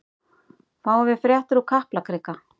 Fáum við fréttir úr Kaplakrika?